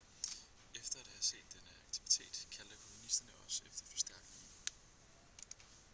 efter at have set denne aktivitet kaldte kolonisterne også efter forstærkninger